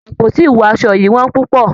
Àpótí ìwọ aṣọ yìí wón púpọ̀.